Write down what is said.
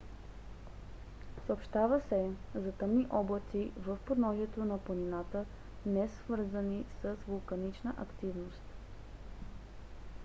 съобщава се за тъмни облаци в подножието на планината несвързани с вулканична активност